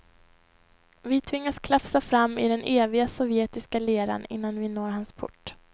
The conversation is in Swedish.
Vi tvingas klafsa fram i den eviga sovjetiska leran innan vi når hans port.